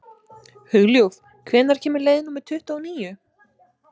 Hugljúf, hvenær kemur leið númer tuttugu og níu?